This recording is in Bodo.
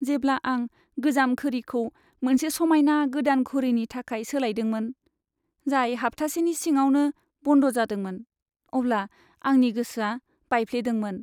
जेब्ला आं गोजाम घोरिखौ मोनसे समायना गोदान घोरिनि थाखाय सोलायदोंमोन, जाय हाब्थासेनि सिङावनो बन्द जादोंमोन, अब्ला आंनि गोसोआ बायफ्लेदोंमोन।